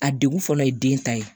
A degun fɔlɔ ye den ta ye